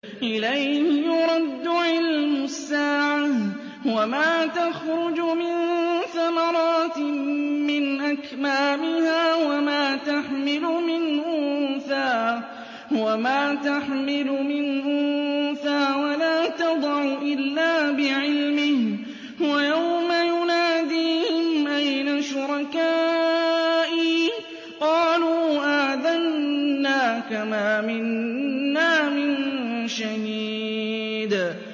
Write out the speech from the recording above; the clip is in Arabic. ۞ إِلَيْهِ يُرَدُّ عِلْمُ السَّاعَةِ ۚ وَمَا تَخْرُجُ مِن ثَمَرَاتٍ مِّنْ أَكْمَامِهَا وَمَا تَحْمِلُ مِنْ أُنثَىٰ وَلَا تَضَعُ إِلَّا بِعِلْمِهِ ۚ وَيَوْمَ يُنَادِيهِمْ أَيْنَ شُرَكَائِي قَالُوا آذَنَّاكَ مَا مِنَّا مِن شَهِيدٍ